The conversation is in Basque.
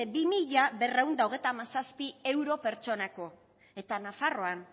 bi mila berrehun eta hogeita hamazazpi euro pertsonako eta nafarroan